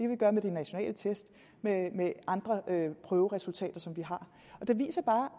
vi gøre med de nationale test og med med andre prøveresultater som vi har det viser bare